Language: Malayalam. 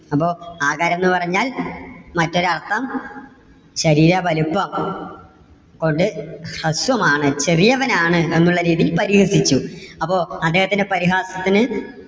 അപ്പോ ആകാരംന്ന് പറഞ്ഞാൽ മറ്റൊരു അർത്ഥം ശരീര വലിപ്പം കൊണ്ട് ഹ്രസ്വമാണ്, ചെറിയവനാണ് എന്നുള്ള രീതിയിൽ പരിഹസിച്ചു. അപ്പോ അദ്ദേഹത്തിന്റെ പരിഹാസത്തിന്